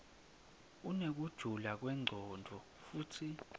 inekujula kwemcondvo futsi